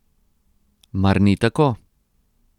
Mar ni tako?